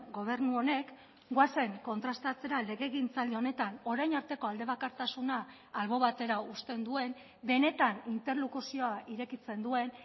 gobernu honek goazen kontrastatzera legegintzaldi honetan orain arteko aldebakartasuna albo batera uzten duen benetan interlokuzioa irekitzen duen